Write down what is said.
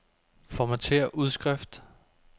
Formatér udskrift.